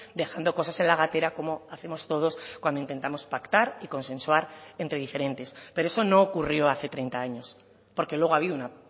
dejando cosas en la gatera como hacemos todos cuando intentamos pactar y consensuar entre diferentes pero eso no ocurrió hace treinta años porque luego ha habido una